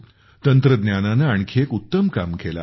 तंत्रज्ञानाने आणखी एक उत्तम काम केले आहे